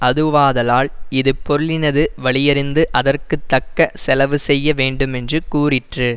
அதுவாதலால் இது பொருளினது வலியறிந்து அதற்கு தக்க செலவுசெய்ய வேண்டுமென்று கூறிற்று